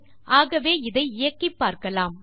ஆகவே இதை இயக்கிப் பார்க்கலாம்